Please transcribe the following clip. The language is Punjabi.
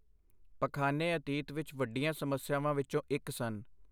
ਪਖਾਨੇ ਅਤੀਤ ਵਿੱਚ ਵੱਡੀਆਂ ਸਮੱਸਿਆਵਾਂ ਵਿੱਚੋਂ ਇੱਕ ਸਨ।